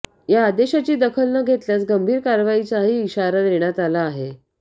या आदेशाची दखल न घेतल्यास गंभीर कारवाईचाही इशारा देण्यात आला आहे